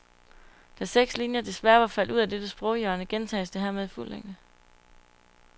Da seks linier desværre var faldet ud af dette sproghjørne gentages det hermed i fuld længde.